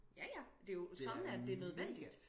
Ja ja det jo skræmmende at det er nødvendigt